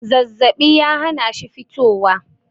zazzabi ya hana shi fitowa